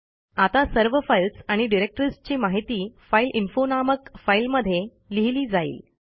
आता सर्व फाईल्स आणि डिरेक्टरीजची माहिती फाइलइन्फो नामक फाईलमध्ये लिहिली जाईल